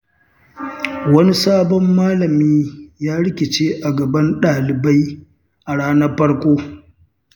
Wani sabon malami ya rikice a gaban ɗalibai a ranar farko.